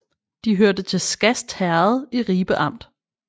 De hørte til Skast Herred i Ribe Amt